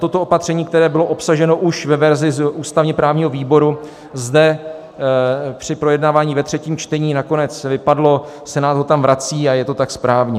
Toto opatření, které bylo obsaženo už ve verzi z ústavně-právního výboru, zde při projednávání ve třetím čtení nakonec vypadlo, Senát ho tam vrací a je to tak správně.